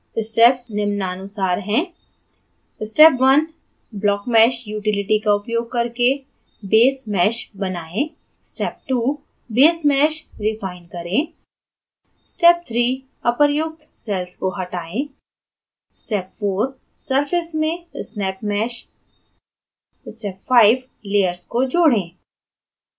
steps निम्नानुसार हैं